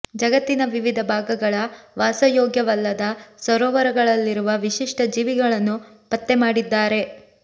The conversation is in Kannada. ಜಗತ್ತಿನ ವಿವಿಧ ಭಾಗಗಳ ವಾಸಯೋಗ್ಯವಲ್ಲದ ಸರೋವರಗಳಲ್ಲಿರುವ ವಿಶಿಷ್ಟ ಜೀವಿಗಳನ್ನು ಪತ್ತೆ ಮಾಡಿದ್ದಾರೆ